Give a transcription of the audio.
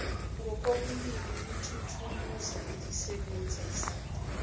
ngokobulili lelithuluzi lisebenzisa